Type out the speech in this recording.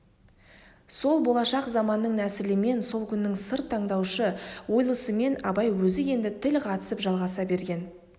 сол болашақ заманның нәсілімен сол күннің сыр тыңдаушы ойлысымен абай өзі енді тіл қатысып жалғаса берген